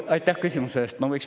Aitäh küsimuse eest!